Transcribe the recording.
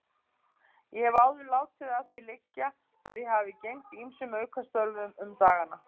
Ég hef áður látið að því liggja að ég hafi gegnt ýmsum aukastörfum um dagana.